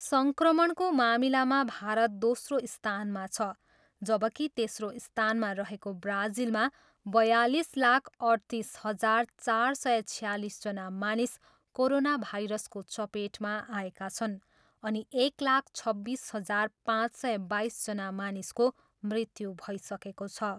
सङ्क्रमणको मामिलामा भारत दोस्रो स्थानमा छ जबकि तेस्रो स्थानमा रहेको ब्राजिलमा बयालिस लाख अठतिस हजार चार सय छयालिसजना मानिस कोरोना भाइरसको चपेटमा आएका छन् अनि एक लाख छब्बिस हजार पाँच सय बाइसजना मानिसको मृत्यु भइसकेको छ।